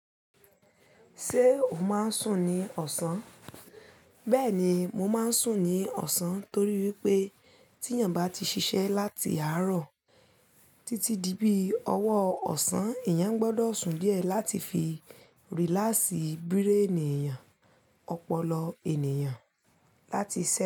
Ṣé o máa ń sùn ní ọ̀sán? Bẹ́ẹ̀ ni, mo máa ń sùn ní ọ̀sán torí wípé tí èèyàn bá ti ṣiṣẹ́ láti àárọ̀ títí di bí ọwọ́ ọ̀sán, èèyàn gbọdọ̀ sùn díẹ̀ láti fi rílásì bíréènì èèyàn, ọpọlọ ènìyàn láti ṣẹ́